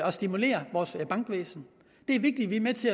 og stimulerer vores bankvæsen det er vigtigt at vi er med til